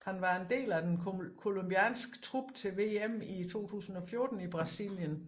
Han var en del af den colombianske trup til VM i 2014 i Brasilien